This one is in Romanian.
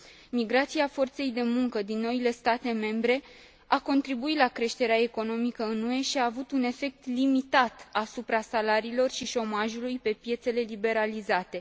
Migrația forței de muncă din noile state membre a contribuit la creșterea economică în UE și a avut un efect limitat asupra salariilor și șomajului pe piețele liberalizate.